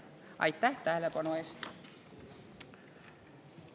Aitäh tähelepanu eest!